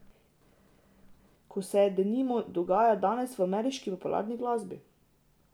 Kot se, denimo, dogaja danes v ameriški popularni glasbi.